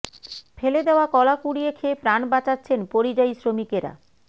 ফেলে দেওয়া কলা কুড়িয়ে খেয়ে প্রাণ বাঁচাচ্ছেন পরিযায়ী শ্রমিকেরা